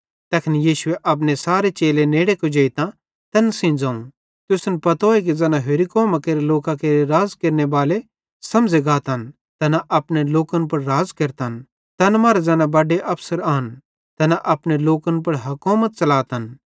तैखन यीशुए अपने सारे चेले नेड़े कुजेइतां तैन सेइं ज़ोवं तुसन पतोए कि ज़ैना होरि कौमां केरे लोकां केरे राज़ केरनेबाले समझ़े गातन तैना अपने लोकन पुड़ राज़ केरतन तैन मरां ज़ैना बड्डे अफसर आन तैना अपने लोकन पुड़ हकोमत च़लातन